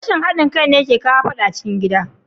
Rashin hadin kai ne yake kawo fadan cikin gida.